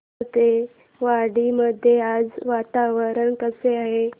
कोळपेवाडी मध्ये आज वातावरण कसे आहे